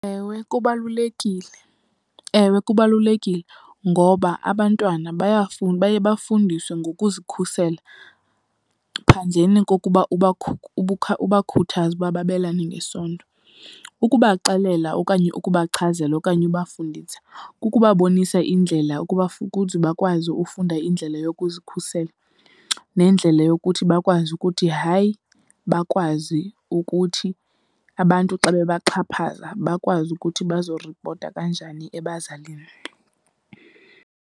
Ewe kubalulekile. Ewe kubalulekile, ngoba abantwana baye bafundiswe ngokuzikhusela ngaphandleni kokuba ubakhuthaze ukuba babelane ngesondo. Ukubaxelela okanye ukubachazela okanye ubafundisa kukubabonisa indlela ukuba , ukuze bakwazi ufunda indlela yokuzikhusela nendlela yokuthi bakwazi ukuthi hayi. Bakwazi ukuthi abantu xa bebaxhaphaza bakwazi ukuthi bazoripota kanjani ebazalini.